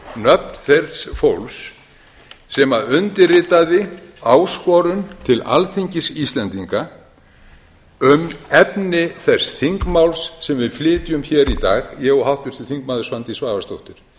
nöfn þess fólks sem undirritaði áskorun til alþingis íslendinga um efni þess þingmáls sem við flytjum hér í dag ég og háttvirtur þingmaður svandís svavarsdóttir